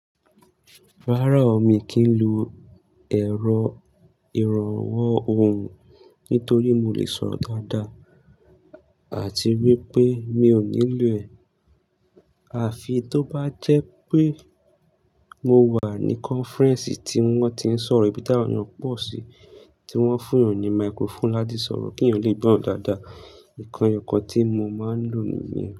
Rárá o, mi kì í lo èrọ ìrànwọ́ ohùn nítorí mo lè sọ̀rọ̀ dáadáa àti wípé mi ò nílò ẹ̀. Àfi tó bá jé pé mo wà ní conference tí wón ti n sòrò e bí tí àwón èyàn pò si tí wón fun yàn ni microphone láti sòrò ki yàn lé gbó rò dádá Ìkàn e yo kan tí mo máa ń lò nìyẹn.